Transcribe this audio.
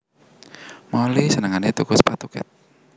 Molly senengane tuku sepatu Keds